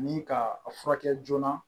Ni ka a furakɛ joona